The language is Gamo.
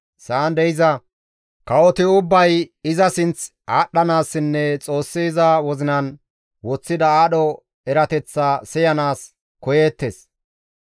Sa7an de7iza kawoti ubbay iza sinth aadhdhanaassinne Xoossi iza wozinan woththida aadho erateththaa siyanaas koyeettes.